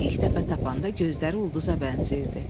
Onu ilk dəfə tapanda gözləri ulduza bənzəyirdi.